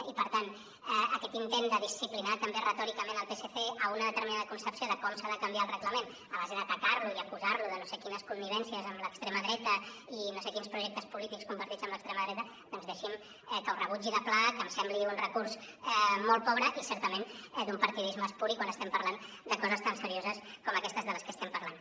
i per tant aquest intent de disciplinar també retòricament el psc a una determinada concepció de com s’ha de canviar el reglament a base d’atacar lo i acusar lo de no sé quines connivències amb l’extrema dreta i no sé quins projectes polítics compartits amb l’extrema dreta doncs deixi’m que ho rebutgi de ple que em sembli un recurs molt pobre i certament d’un partidisme espuri quan estem parlant de coses tan serioses com aquestes de les que estem parlant